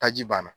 Taji banna